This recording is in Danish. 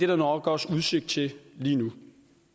der nok også udsigt til lige nu